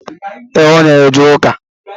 E, Ọ na eje ụka